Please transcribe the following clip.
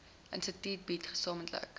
instituut bied gesamentlik